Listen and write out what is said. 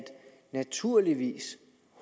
naturligvis